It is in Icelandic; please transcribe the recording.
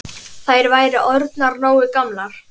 Þær væru orðnar nógu gamlar.